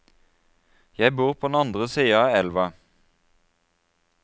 Jeg bor på den andre siden av elva.